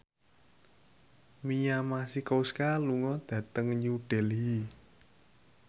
Mia Masikowska lunga dhateng New Delhi